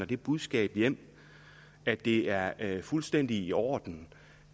det budskab hjem at det er er fuldstændig i orden